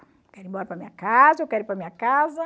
Eu quero ir embora para a minha casa, eu quero ir para a minha casa.